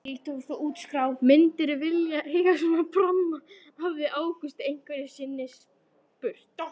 Myndirðu vilja eiga svona pramma? hafði Ágúst einhverju sinni spurt.